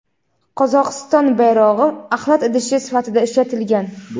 Qozog‘iston bayrog‘i axlat idishi sifatida ishlatilgan.